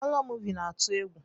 Horo moovi na atụ egwu.